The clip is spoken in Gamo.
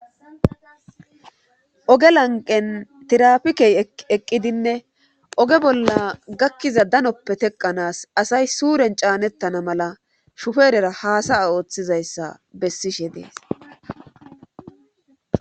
Oge lanqen tirafikey eqqidinne oge bolla gakkiza danoppe teqanaas asay suuren caanettana mala shuferera haasaya ooththizayssa bessishe dees.